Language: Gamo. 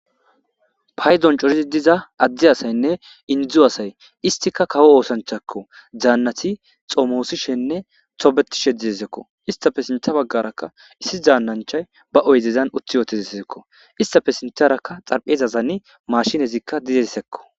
pay don corizi diza addi asaynne inidzu asay istika kawo oosanchakko zaannati xoomoosishenne tobetishe dizezekko istafe sintha baggarakka issi zaannanchay ba oyzezan utti yootezisizekko istafe sintarakka xarphezasani maashinezikka dizesekko.